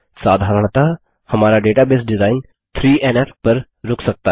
साधारणतः हमारा database design 3एनएफ पर रुक सकता है